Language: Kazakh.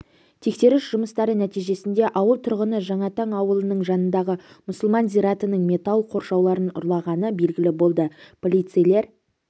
тексеріс жұмыстары нәтижесінде ауыл тұрғыны жаңатаң ауылының жанындағы мұсылман зиратының металл қоршауларын ұрлағаны белгілі болды полицейлер